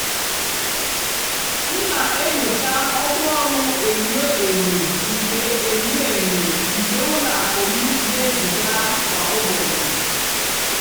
m nà-ènyócha ọ́kwá ọ́rụ́ ènyó ènyó nkè ènyó ènyó nkè ùlọ àkụ́ m nà-èzígá kwá ụ́bọ̀chị́.